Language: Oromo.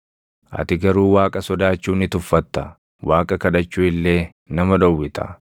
Ati garuu Waaqa sodaachuu ni tuffatta; Waaqa kadhachuu illee nama dhowwita.